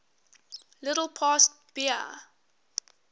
little past bahia